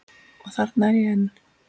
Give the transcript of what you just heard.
Og þarna er ég enn.